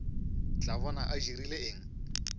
tla bona a dirile eng